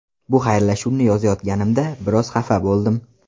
Bu xayrlashuvni yozayotganimda biroz xafa bo‘ldim.